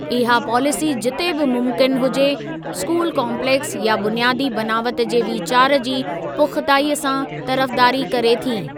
इहा पॉलिसी जिते बि मुमकिन हुजे, स्कूल काम्पलेक्स या बुनियादी बनावत जे वीचार जी पुख़्ताईअ सां तरफ़दारी करे थी।